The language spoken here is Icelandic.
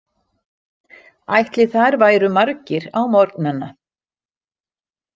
Ætli þar væru margir á morgnana?